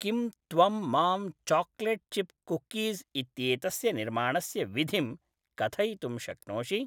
किं त्वं मां चाकलेट् चिप् कुकीज़् इत्येतस्य निर्माणस्य विधिं कथयितुं शक्नोषि?